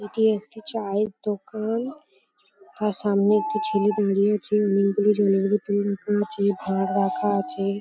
এটি একটি চায়ের দোকান তার সামনে একটি ছেলে দাঁড়িয়ে আছে মেনক্লে জঙ্গলে দই রাখা আছে ভাঁড় রাখা আছে।